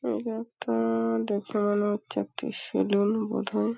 এটা একটা-আ-আ দোকান ও চারটি সেলুন বোধ হয়।